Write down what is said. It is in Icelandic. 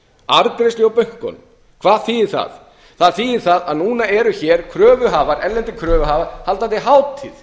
afgreiðslu hjá bönkunum hvað þýðir það það þýðir það að núna eru hér erlendir kröfuhafar haldandi hátíð